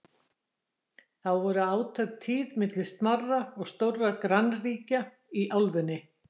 þá voru átök tíð milli smárra og stórra grannríkja í álfunni